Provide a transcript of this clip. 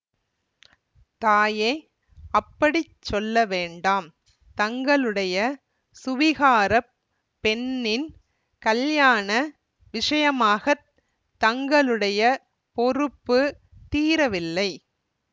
தாயே அப்படி சொல்ல வேண்டாம் தங்களுடைய சுவீகாரப் பெண்ணின் கல்யாண விஷயமாகத் தங்களுடைய பொறுப்பு தீரவில்லை